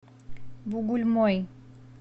бугульмой